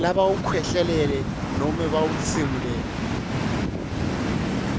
labawukhwehlelele nobe labawutsimulele